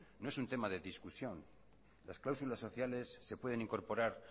no es un tema de discusión las cláusulas sociales se pueden incorporar